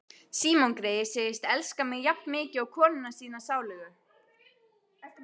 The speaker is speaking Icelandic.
Símon greyið segist elska mig jafnmikið og konuna sína sálugu.